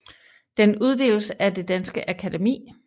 Den uddeles af Det danske Akademi